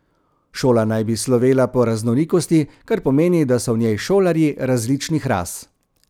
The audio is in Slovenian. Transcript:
Šola naj bi slovela po raznolikosti, kar pomeni, da so v njej šolarji različnih ras.